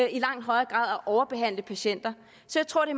i langt højere grad at overbehandle patienter så jeg tror det